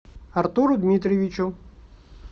артуру дмитриевичу